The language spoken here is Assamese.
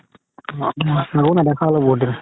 ‌‌ বৌকও নেদেখা হ'লো বহুত দিন